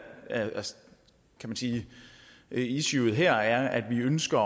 kan man sige et issue her er at vi ønsker